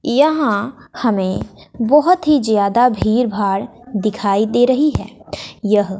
यहां हमें बहुत ही ज्यादा भीड़ भाड़ दिखाई दे रही है यह--